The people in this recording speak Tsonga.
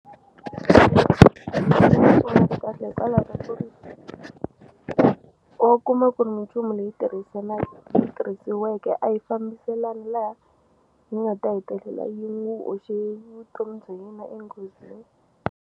kahle hikwalaho ka ku ri wa kuma ku ri minchumu leyi tirhisanaka tirhisiweke a yi fambiselani laha hi nga ta hetelela yi n'wu hoxe vutomi bya yena enghozini.